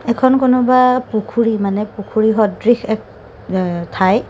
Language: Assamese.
এখন কোনোবা পুখুৰী মানে পুখুৰী সদৃশ এ ঠাই।